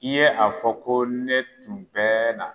I ye a fɔ ko ne tun bɛɛ na